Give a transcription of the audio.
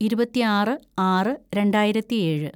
ഇരുപത്തിയാറ് ആറ് രണ്ടായിരത്തിയേഴ്‌